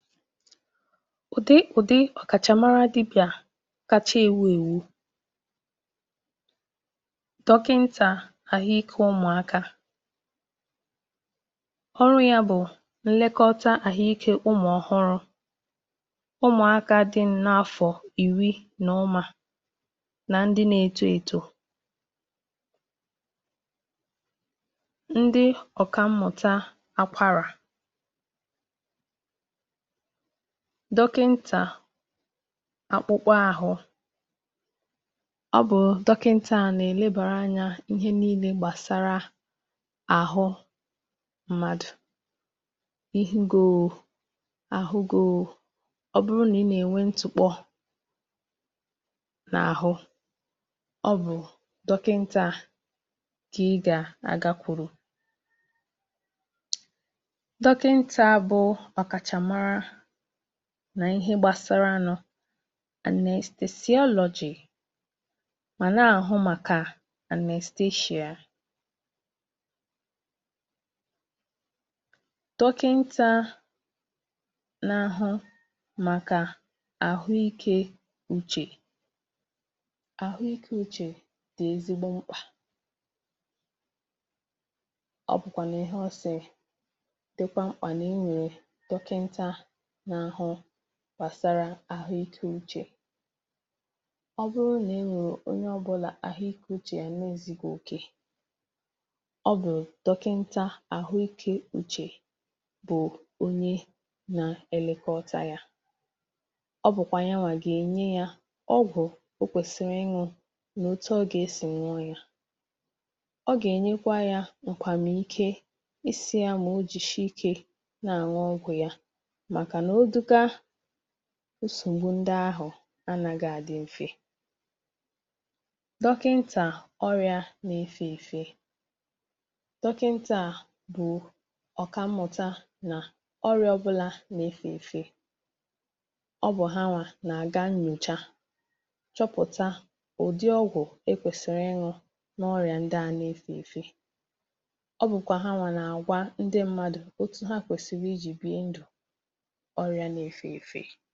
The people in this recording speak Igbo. Ụ̀dị́ dị iche iche dị n’ọ́rịa dọkịntà dị Ụ̀zọ̀ kacha āmara bụ̀ dọkịntà àhụ́ ǹkè ụmụ̀aka. Ọrụ́ dọkịntà a bụ̀ ilekọta àhụ́ ìké ụmụ̀aka nke gụnyere ụmụ̀ ọhụrụ, ụmụ̀aka nta, ụmụ̀aka dị n’afọ̀ iri, na ndị nà-etò eto um. Ụ̀dị́ ọzọ̀ bụ̀ dọkịntà akpụ̀kpọ̀ àhụ́. Ọ bụ̀ dọkịntà nà-elekọta ihe niile gbasara akpụ̀kpọ̀ àhụ́ mmadụ̀. Ọ bụrụ̀ na ị hụ̀ ntụ́kpọ̀, ihe nà-agbà gị̀ ahụ́, maọ̀bụ̀ ọrịa ọ̀zọ̀ n’akpụ̀kpọ̀ àhụ́, ọ bụ̀ dọkịntà a kà ị̀ gà-àga hụ̀ um. Anyị nwekwàrà dọkịntà n’àhụ́ màkà anestheshia. Dọkịntà a bụ̀ onye a zùrù ìsì iji nye ọgwụ̀ e ji ehi ụ́rà n’oge e nà-eme ịwa ahụ̀, ma na-elekọta onye ọrịa nke ọma ruo mgbe e mechàrà um. Nwekwàrà dọkịntà àhụ́ màkà àhụ́ ìké uche. Dọkịntà a nà-elekọta àhụ́ ìké uche mmadụ̀, nke dị ezigbo mkpà um. Mgbe onye ọ̀bụ̀la nwere nsogbù n’uche maọ̀bụ̀ n’obi, dọkịntà a nà-ele ya anya nke ọma, nà-enye ndụ̀mọdụ, maọ̀bụ̀ na-ede ọgwụ̀ iji nyere ya aka ị̀mịkọ̀ta uche ya. N’ikpeazụ, e nwekwara dọkịntà àhụ́ ǹkè ọrịa nà-efe efe um. Dọkịntà a nà-amụ̀ na na-agwọ̀ ọrịa ndị nà-agbasa site n’otu onye gaa n’ọzọ̀. Ọ na-achọ̀pụ̀tà ụdị́ ọrịa ahụ̀ ma họ̀rọ̀ ọgwụ̀ ziri ezi iji gwọọ ya. Ọ na-akụzikwà ndị mmadụ otú ha gà-esi biri ndụ̀ dị ọcha ma zèe ọrịa ndị a.